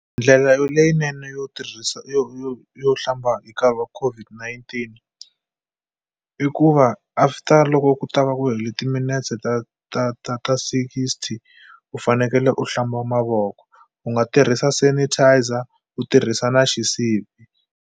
Ndlela yo leyinene yo tirhisa yo yo yo hlamba hi nkarhi wa COVID-19 i ku va after loko ku ta va ku hele timinetse ta ta ta ta sixty u fanekele u hlamba mavoko u nga tirhisa sanitizer u tirhisa na xisibi.